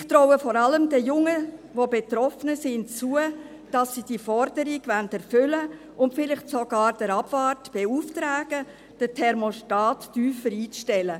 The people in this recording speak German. Ich traue vor allem den Jungen, die betroffener sind, zu, dass sie diese Forderung erfüllen wollen und vielleicht sogar den Abwart beauftragen, den Thermostat tiefer einzustellen.